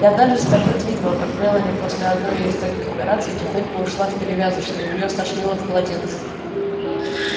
и однажды скарлетт видела как мелани после одной из таких операций тихонько ушла в перевязочную и её стошнило в полотенце